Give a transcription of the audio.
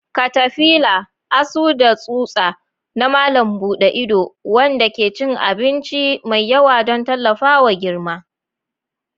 Katafila: Asu da tsutsa na malam buɗe ido, waɗanda ke cin abinci mai yawa don tallafawa girma.